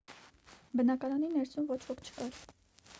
բնակարանի ներսում ոչ ոք չկար